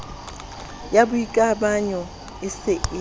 ya boikamanyo e se e